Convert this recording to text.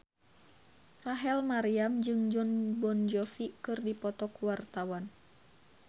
Rachel Maryam jeung Jon Bon Jovi keur dipoto ku wartawan